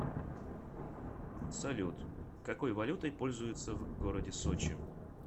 салют какой валютой пользуются в городе сочи